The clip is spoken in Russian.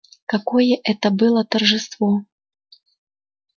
какое это было торжество